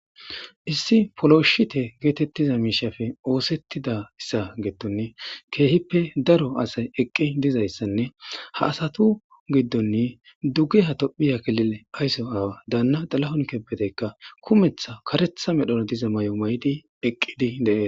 Issi polooshite geetettiza miishafe oosettida issa geettonne keehippe daro asay eqqi dizayssanne ha asatu giddonni dugge ha tophiyakilile ayso aawa daanna dalahon kebeteykka kumetha karetha medhona diza may'o may'di eqqidi deee.